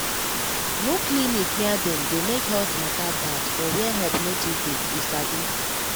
no clinic near dem dey make health matter bad for where help no too dey you sabi